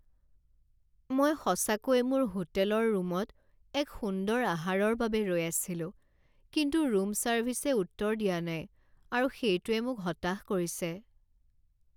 মই সঁচাকৈয়ে মোৰ হোটেলৰ ৰূমত এক সুন্দৰ আহাৰৰ বাবে ৰৈ আছিলো, কিন্তু ৰূম ছাৰ্ভিছে উত্তৰ দিয়া নাই আৰু সেইটোৱে মোক হতাশ কৰিছে।